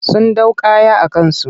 Sun ɗau kaya a kansu.